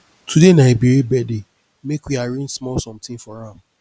today na ebere birthday make we arrange small something for am